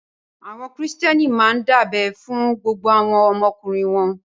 Àwọn Kìrìtẹ́ẹ́nì máa ń dábẹ fún gbogbo àwọn ọmọkùnrin wọn.